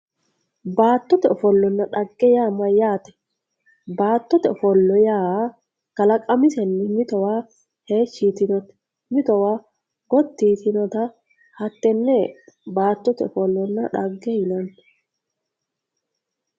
Baattote ofollanna dhagge yaa mayyaate? Baattote ofolo yaa kalaqamisenni mitowa heeshshi yitinoti mitowa gotti yitinota hattenne baattote ofollonna dhagge yineemmo